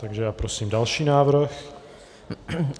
Takže já prosím další návrh.